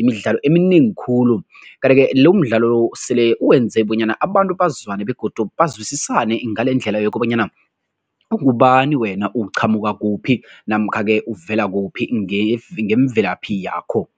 imidlalo eminengi khulu kanti-ke lomdlalo sele wenze bonyana abantu bazwane begodu bazwisisane ngalendlela yokobanyana ungubani wena uqhamuka kuphi namkha-ke uvela kuphi ngemvelaphi yakho.